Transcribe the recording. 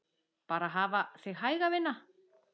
Bara hafa þig hæga, vina.